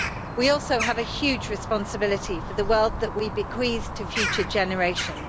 We also have a huge responsibility for the world that we bequeath to future generations.